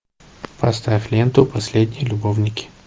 поставь ленту последние любовники